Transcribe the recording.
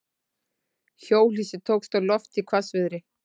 Hjólhýsi tókst á loft í hvassviðri